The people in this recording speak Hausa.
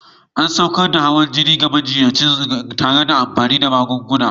An saukar da hawan jini na majiyyaci tare da amfani da magunguna.